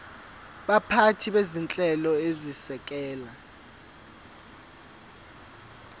baphathi bezinhlelo ezisekela